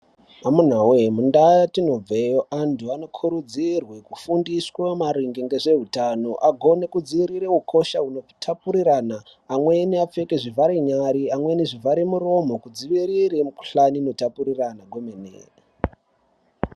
Amunawe mundau yetinogara antu anokurudzirwe kufundiswe maringe ngezveutano adzivirire mikhuhlane inotapurirana amweni apfeke zvivharenyara amweni zvivharamiromo kudzivirira mikhuhlane inotapurirana kwemene.